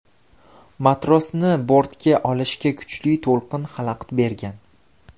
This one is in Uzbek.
Matrosni bortga olishga kuchli to‘lqin xalaqit bergan.